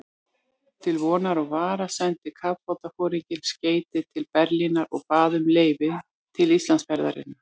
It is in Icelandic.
Til vonar og vara sendi kafbátsforinginn skeyti til Berlínar og bað um leyfi til Íslandsferðarinnar.